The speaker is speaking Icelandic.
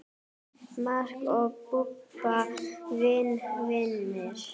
Mark og Bubba eru vinir.